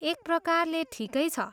एक प्रकारले, ठिकै छ।